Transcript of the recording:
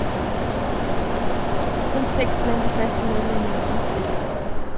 Kun seks blandt de faste medlemmer er udeblevet i år.